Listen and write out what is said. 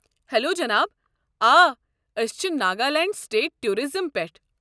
Hello جناب! آ ٲسۍ چھِ ناگالینڈ سٹیٹ ٹورازم پٮ۪ٹھٕ۔